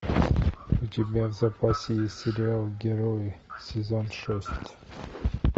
у тебя в запасе есть сериал герои сезон шесть